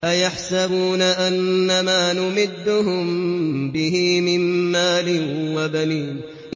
أَيَحْسَبُونَ أَنَّمَا نُمِدُّهُم بِهِ مِن مَّالٍ وَبَنِينَ